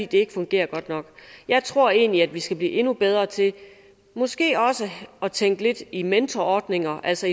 det ikke fungerer godt nok jeg tror egentlig at vi skal blive endnu bedre til måske også at tænke lidt i mentorordninger altså